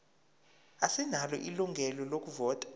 asinalo ilungelo lokuvota